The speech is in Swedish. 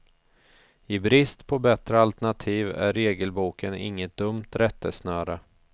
I brist på bättre alternativ är regelboken inget dumt rättesnöre.